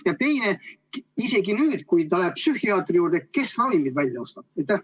Ja teine: kui ta ikkagi läheb psühhiaatri juurde, kes siis ravimid välja ostab?